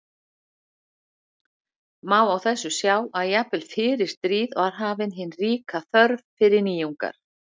Má á þessu sjá að jafnvel fyrir stríð var hafin hin ríka þörf fyrir nýjungar.